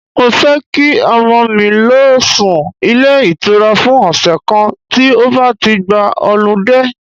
Mo fẹ́ kí ọmọ mi lọ sún ilé ìtura fún ọ̀sẹ̀ kan tí ó bá ti gba họludé.